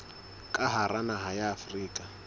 ka hara naha ya afrika